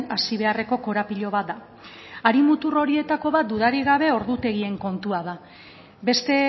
hasi beharreko korapilo bat da hari mutur horietako bat dudarik gabe ordutegien kontua da beste